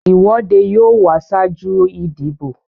ìwọ́dé yóò wà ṣáájú ìdìbò.